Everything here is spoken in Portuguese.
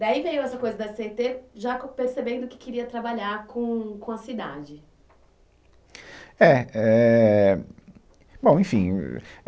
Daí veio essa coisa da Cê ê tê, já com, percebendo que queria trabalhar com, com a cidade. É, é, bom enfim uh